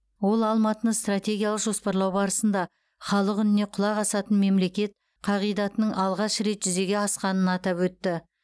ол алматыны стратегиялық жоспарлау барысында халық үніне құлақ асатын мемлекет қағидатының алғаш рет жүзеге асқанын атап өтті